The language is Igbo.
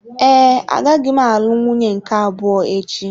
Ee, agaghị m alụ nwunye nke abụọ echi.